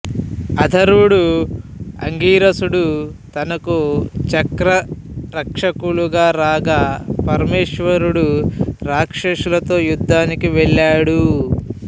అధర్వుడు అంగీరసుడు తనకు చక్రరక్షకులుగా రాగా పరమేశ్వరుడు రాక్షసులతో యుద్ధానికి వెళ్ళాడు